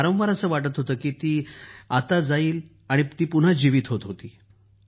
वारंवार असं वाटत होतं की ती आता जाईल आणि ती पुन्हा जीवित होत होती